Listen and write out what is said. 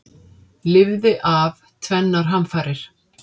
Lifði af tvennar hamfarir